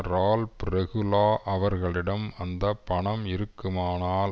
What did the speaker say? Ralph Regula அவர்களிடம் அந்த பணம் இருக்குமானால்